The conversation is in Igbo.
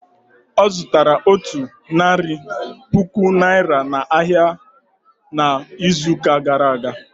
Ọ zụtaraotu narị puku Naịra n'ahịa ahịa n'izuụka gara aga.